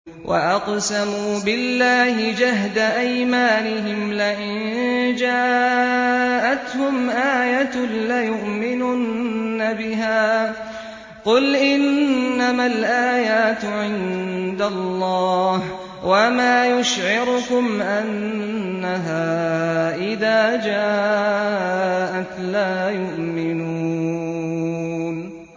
وَأَقْسَمُوا بِاللَّهِ جَهْدَ أَيْمَانِهِمْ لَئِن جَاءَتْهُمْ آيَةٌ لَّيُؤْمِنُنَّ بِهَا ۚ قُلْ إِنَّمَا الْآيَاتُ عِندَ اللَّهِ ۖ وَمَا يُشْعِرُكُمْ أَنَّهَا إِذَا جَاءَتْ لَا يُؤْمِنُونَ